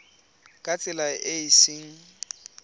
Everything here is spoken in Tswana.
ka tsela e e seng